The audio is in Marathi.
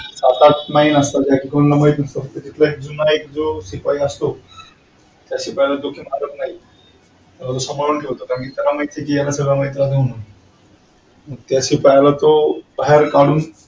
फारसे आता आमची शाळा तर आदिवासी शाळा आहे मग त्याला खूप ठिकाणाहून मदत येत होती.